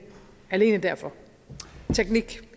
alene derfor teknik